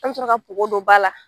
An bɛ sɔrɔ ka npogo don ba la